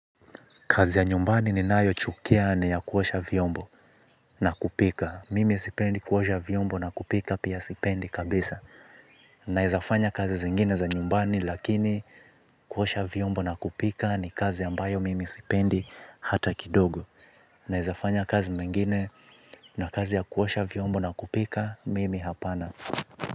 Kazi ya nyumbani ninayochukia ni ya kuosha vyombo na kupika. Mimi sipendi kuosha vyombo na kupika pia sipendi kabisa. Naeza fanya kazi zingine za nyumbani lakini kuosha vyombo na kupika ni kazi ambayo mimi sipendi hata kidogo. Naeza fanya kazi mengine na kazi ya kuosha vyombo na kupika mimi hapana.